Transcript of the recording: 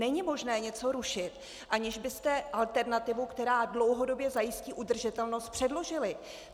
Není možné něco rušit, aniž byste alternativu, která dlouhodobě zajistí udržitelnost, předložili.